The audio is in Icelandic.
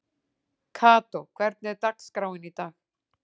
Kató, hvernig er dagskráin í dag?